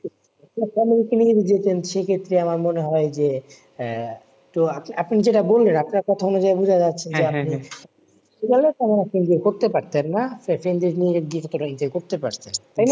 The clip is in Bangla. তো family কে নিয়ে যদি যেতেন সে ক্ষেত্রে আমার মনে হয় যে আহ তো আপ ~আপনি যেটা বললেন আপনার কথার অনুযায় বুঝা যাচ্ছে যে করতে পারতেন না করতে পারতেন তাই না